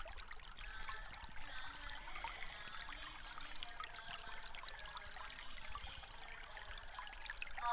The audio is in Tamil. ஆஹ் இப்போ நாங்க வந்து நான் மதுரைக்கு மதுரை போறதுக்காக car book பண்றோம் one week மதுரைக்கு போறதுக்காகத்தான் car book பண்றோம்